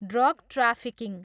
Drug trafficking.